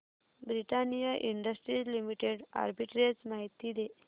Britannia industries limited arbitrage माहिती दे